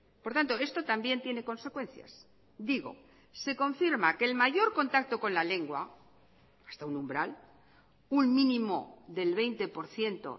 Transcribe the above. por tanto esto también tiene consecuencias digo se confirma que el mayor contacto con la lengua hasta un umbral un mínimo del veinte por ciento